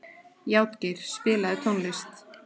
Játgeir, spilaðu tónlist.